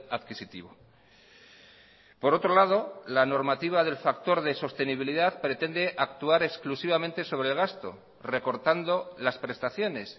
adquisitivo por otro lado la normativa del factor de sostenibilidad pretende actuar exclusivamente sobre el gasto recortando las prestaciones